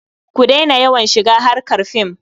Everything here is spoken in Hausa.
Ku daina yawan shiga harkar fim.